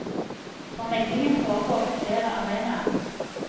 For meglingen foregår på flere arenaer.